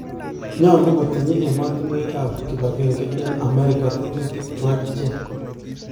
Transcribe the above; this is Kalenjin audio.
nyalu kotinye ematunwek ap kipagenge ne Ameriga tetutig chuu akicheg